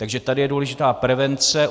Takže tady je důležitá prevence.